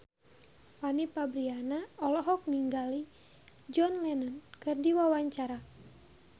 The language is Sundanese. Fanny Fabriana olohok ningali John Lennon keur diwawancara